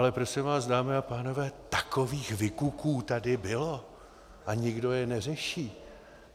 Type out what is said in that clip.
Ale prosím vás, dámy a pánové, takových vykuků tady bylo a nikdo je neřeší.